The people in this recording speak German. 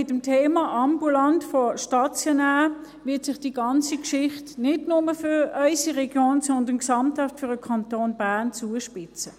Mit dem Thema «ambulant vor stationär» wird sich die ganze Geschichte nicht nur für unsere Region, sondern für den Kanton Bern gesamthaft zuspitzen.